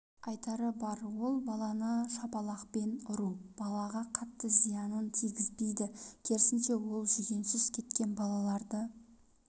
айтары бар ол баланы шапалақпен ұру балаға қатты зиянын тигізбейді керсінше ол жүгенсіз кеткен балаларды